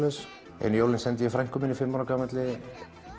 ein jólin sendi ég frænku minni fimm ára gamalli